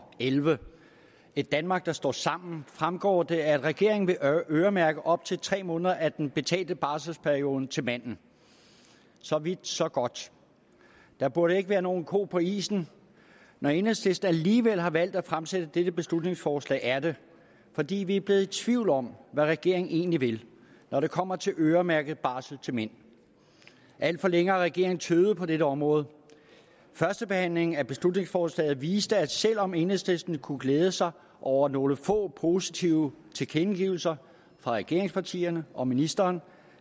elleve et danmark der står sammen fremgår det at regeringen vil øremærke op til tre måneder af den betalte barselsperiode til manden så vidt så godt der burde ikke være nogen ko på isen når enhedslisten alligevel har valgt at fremsætte dette beslutningsforslag er det fordi vi er blevet i tvivl om hvad regeringen egentlig vil når det kommer til at øremærke barsel til mænd alt for længe har regeringen tøvet på dette område førstebehandlingen af beslutningsforslaget viste at selv om enhedslisten kunne glæde sig over nogle få positive tilkendegivelser fra regeringspartierne og ministeren